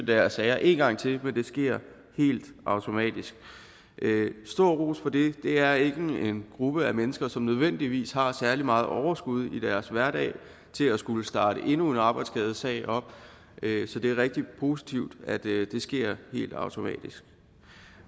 deres sager en gang til men at det sker helt automatisk stor ros for det det er ikke en gruppe af mennesker som nødvendigvis har særlig meget overskud i deres hverdag til at skulle starte endnu en arbejdsskadesag op så det er rigtig positivt at det sker helt automatisk